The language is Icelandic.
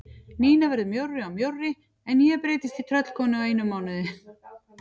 Nína verður mjórri og mjórri en ég breytist í tröllkonu á einum mánuði.